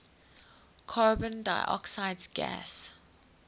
carbon dioxide gas